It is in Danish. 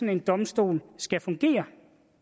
en domstol skal fungere